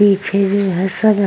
पीछे भी हसना --